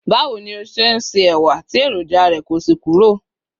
bawo ni o ṣe n se ẹwà ti eroja rẹ ko sí kúrò